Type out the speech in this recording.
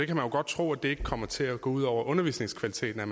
kan jo godt tro at det ikke kommer til at gå ud over undervisningskvaliteten at